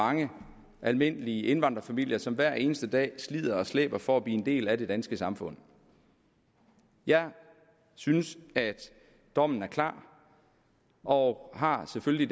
mange almindelige indvandrerfamilier som hver eneste dag slider og slæber for at blive en del af det danske samfund jeg synes at dommen er klar og har selvfølgelig